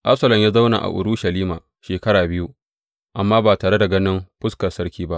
Absalom ya zauna a Urushalima shekara biyu amma ba tare da ganin fuskar sarki ba.